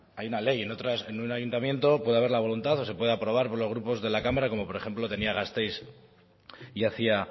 hay una ley en un ayuntamiento puede haber la voluntad o se puede aprobar por los grupos de la cámara como por ejemplo tenía gasteiz y hacía